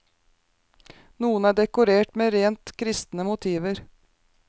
Noen er dekorert med rent kristne motiver.